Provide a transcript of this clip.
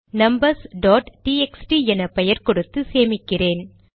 numbers dot TXT என பெயர் கொடுத்து சேமிக்கிறேன்